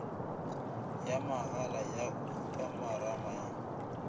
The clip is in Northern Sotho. ya mahala ya khupamarama ya